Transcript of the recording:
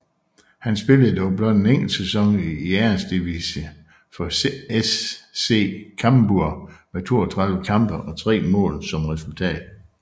Han spillede dog blot en enkelt sæson i Eresdivisie for SC Cambuur med 32 kampe og tre mål som resultat